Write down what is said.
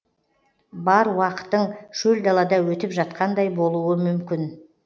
бар уақытың шөл далада өтіп жатқандай болуы мүмкін